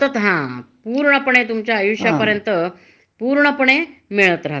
हो, हो, मिळत, मिळत. आयात येती पर्यंत, हा, ते मिळत राहतं. हं.